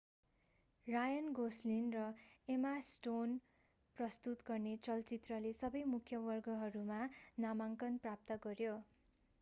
रायन गोस्लिङ र Emma Stone प्रस्तुत गर्ने चलचित्रले सबै मुख्य वर्गहरूमा नामाङ्कन प्राप्त गर्‍यो।